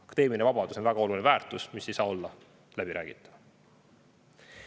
Akadeemiline vabadus on väga suur väärtus, mis ei saa olla läbiräägitav.